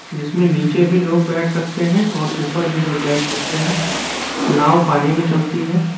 जिसमे निचे भी लोग बेठ सकते है और उपर भी लोग बेठ सकते है नाव पानी में चलती है।